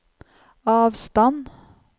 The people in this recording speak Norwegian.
avstand